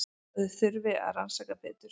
Þau þurfi að rannsaka betur.